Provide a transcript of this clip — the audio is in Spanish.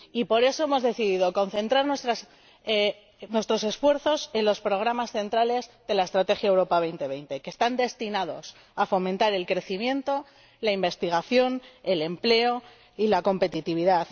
Y por eso hemos decidido concentrar nuestros esfuerzos en los programas centrales de la Estrategia Europa 2020 que están destinados a fomentar el crecimiento, la investigación, el empleo y la competitividad